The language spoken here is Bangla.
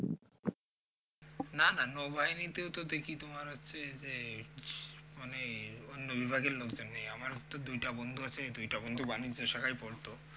না না নৌ বাহিনিতেও দেখি তোমার হচ্ছে যে মানে অন্য বিভাগের লোকজন নেয় আমার তো দুই টা বন্ধু আছে এই দুই টা বন্ধু বাণিজ্য শাখায় পড়ত